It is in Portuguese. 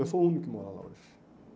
Eu sou o único que mora lá hoje.